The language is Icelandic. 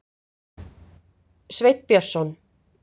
Sveinn Björnsson.